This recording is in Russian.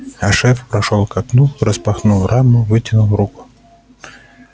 а шеф прошёл к окну распахнул раму вытянул руку